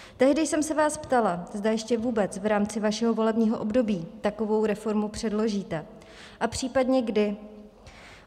Tehdy jsem se vás ptala, zda ještě vůbec v rámci vašeho volebního období takovou reformu předložíte a případně kdy.